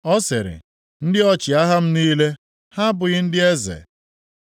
Ọ sịrị, ‘Ndị ọchịagha m niile ha abụghị ndị eze?’